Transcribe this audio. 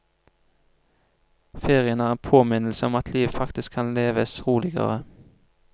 Ferien er en påminnelse om at livet faktisk kan leves roligere.